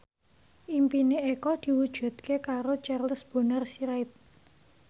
impine Eko diwujudke karo Charles Bonar Sirait